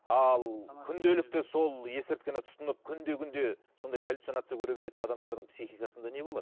ал күнделікті сол есірткіні тұтынып күнде күнде сондай галюцинация көре беретін адамдардың психикасында не болады